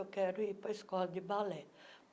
Eu quero ir para a escola de balé.